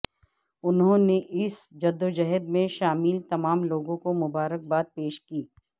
انہوں نے اس جدوجہد میں شامل تمام لوگوں کو مبارک باد پیش کی